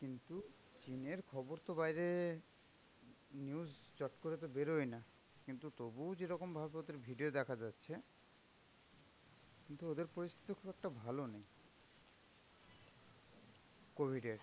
কিন্তু Chin এর খবর তো বাইরে news চট করে তো বেরই না কিন্তু তবুও যে রকম ভাব গতির video দেখা যাচ্ছে, কিন্তু ওদের পরিস্থিতি খুব এক টা ভালো না covid এর.